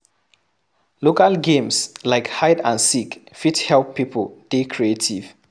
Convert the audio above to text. Local games like hide and seek fit help pipo dey creative